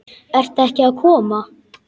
Ert ekki að koma?